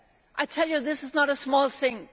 MFF. I tell you, this is no small thing.